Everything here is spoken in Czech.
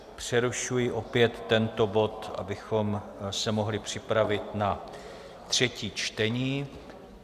Přerušuji opět tento bod, abychom se mohli připravit na třetí čtení.